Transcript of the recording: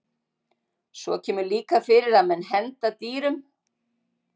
Svo kemur líka fyrir að menn henda dýrum.